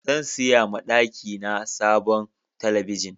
Zan siya ma daki na sabon telibijin.